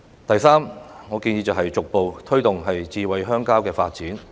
第三，我建議逐步推動的是"智慧鄉郊"的發展。